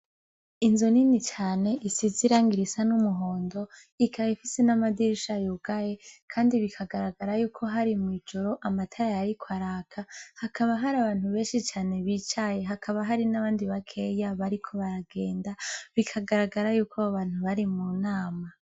Inzu nini cane isizi irangirisa n'umuhondo ikaba ifise n'amadirisha riugaye, kandi bikagaragara yuko hari mw'ijoro amatara yari ko araka hakaba hari abantu benshi cane bicaye hakaba hari n'abandi bakeya bariko baragenda bikagaragara yuko abo bantu bari mu nama.